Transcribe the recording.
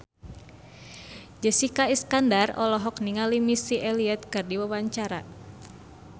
Jessica Iskandar olohok ningali Missy Elliott keur diwawancara